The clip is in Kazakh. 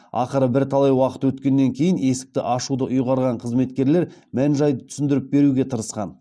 ақыры бірталай уақыт өткеннен кейін есікті ашуды ұйғарған қызметкерлер мән жайды түсіндіріп беруге тырысқан